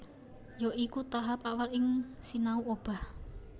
Ya iku tahap awal ing sinau obah